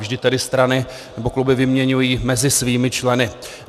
Vždy tedy strany nebo kluby vyměňují mezi svými členy.